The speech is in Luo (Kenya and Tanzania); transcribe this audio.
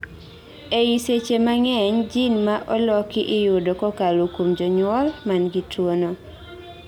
eeei seche mang'eny gene ma oloki iyudo kokalo kuom janyuol man gi tuo no